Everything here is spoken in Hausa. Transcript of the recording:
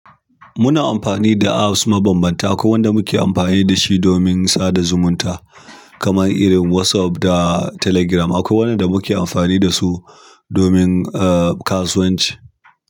Muna amfani da apps mabambanta. Akwai wanda muke amfani da shi domin tsada zumunta, kamar irin WhatsApp da Telegram. Akwai wanda muke amfani da su domin, uh, kasuwanci.